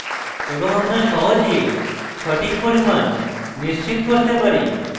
এবং আমরা সহজে সঠিক পরিমাণ নিশ্চিত করতে পারি